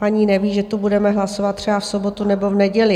- Paní neví, že tu budeme hlasovat třeba v sobotu nebo v neděli.